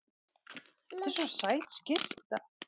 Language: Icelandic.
Þetta er svo sæt skyrta.